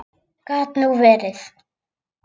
Gat nú verið!